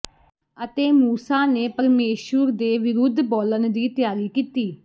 ਅਤੇ ਮੂਸਾ ਨੇ ਪਰਮੇਸ਼ੁਰ ਦੇ ਵਿਰੁੱਧ ਬੋਲਣ ਦੀ ਤਿਆਰੀ ਕੀਤੀ